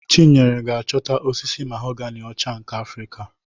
Chinyere ga-achọta osisi mahoganị ọcha nke Afrịka.